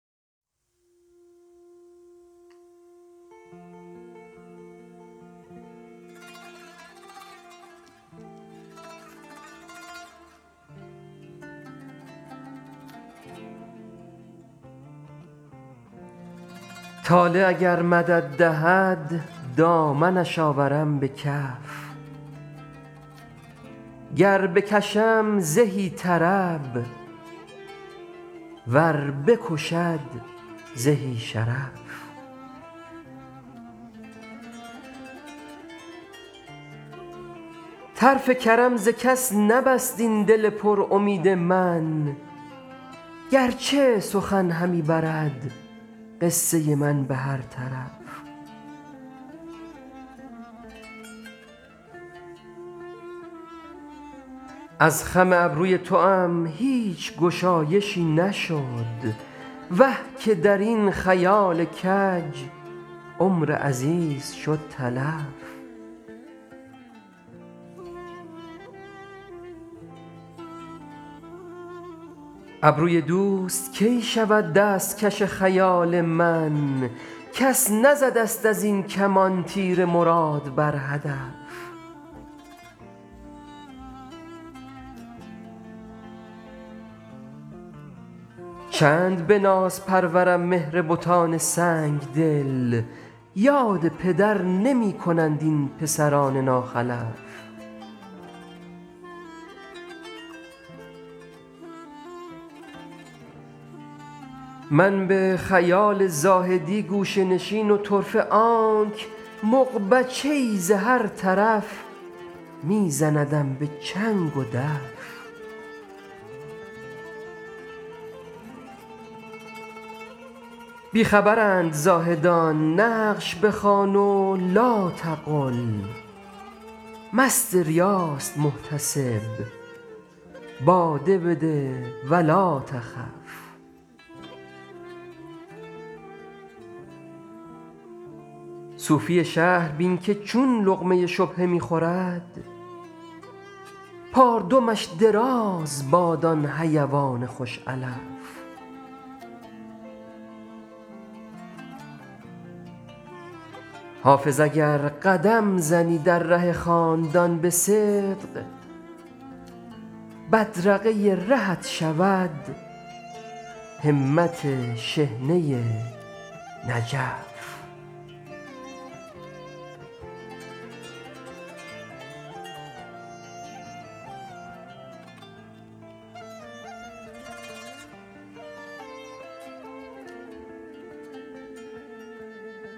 طالع اگر مدد دهد دامنش آورم به کف گر بکشم زهی طرب ور بکشد زهی شرف طرف کرم ز کس نبست این دل پر امید من گر چه سخن همی برد قصه من به هر طرف از خم ابروی توام هیچ گشایشی نشد وه که در این خیال کج عمر عزیز شد تلف ابروی دوست کی شود دست کش خیال من کس نزده ست از این کمان تیر مراد بر هدف چند به ناز پرورم مهر بتان سنگ دل یاد پدر نمی کنند این پسران ناخلف من به خیال زاهدی گوشه نشین و طرفه آنک مغبچه ای ز هر طرف می زندم به چنگ و دف بی خبرند زاهدان نقش بخوان و لاتقل مست ریاست محتسب باده بده و لاتخف صوفی شهر بین که چون لقمه شبهه می خورد پاردمش دراز باد آن حیوان خوش علف حافظ اگر قدم زنی در ره خاندان به صدق بدرقه رهت شود همت شحنه نجف